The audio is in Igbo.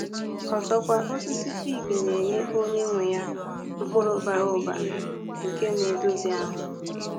Ọzọkwa, osisi fig na-enye onye nwe ya mkpụrụ bara ụba ụba nke na-edozi ahụ.